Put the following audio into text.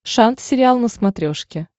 шант сериал на смотрешке